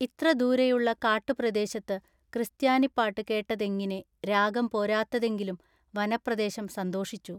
ഇത്ര ദൂരെയുള്ള കാട്ടുപ്രദേശത്ത് ക്രിസ്ത്യാനിപ്പാട്ട് കേട്ടതെങ്ങിനെ രാഗം പോരാത്തതെങ്കിലും “വനപ്രദേശം സന്തോഷിച്ചു.